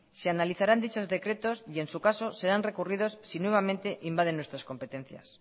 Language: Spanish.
se analizarán dichos decretos y en su caso serán recurridos si nuevamente invaden nuestras competencias